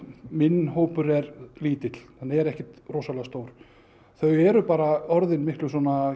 minn hópur er lítill hann er ekkert rosalega stór þau eru bara orðin miklu